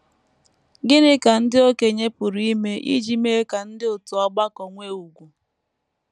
Gịnị ka ndị okenye pụrụ ime iji mee ka ndị òtù ọgbakọ nwee ùgwù?